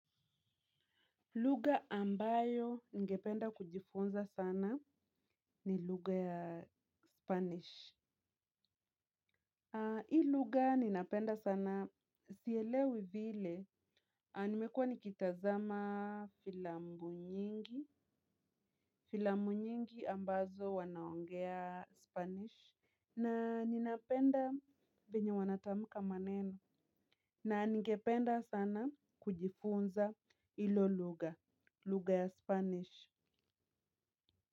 Lugha ambayo ningependa kujifunza sana ni lugha ya spanish. Haa hii luga ninapenda sana sielewi vile. Haa nimekua nikitazama filamu nyingi. Filamu nyingi ambazo wanaongea spanish na ninapenda venye wanatamka maneno. Na ningependa sana kujifunza hilo lugha, lugha ya spanish.